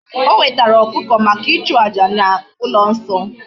O wetara okuko maka ichu aja na ulo nso